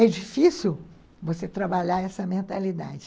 É difícil você trabalhar essa mentalidade.